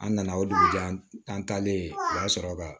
An nana o dugujɛ an talen o y'a sɔrɔ ka